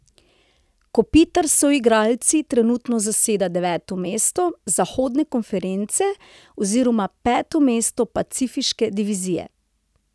Kopitar s soigralci trenutno zaseda deveto mesto zahodne konference oziroma peto mesto pacifiške divizije.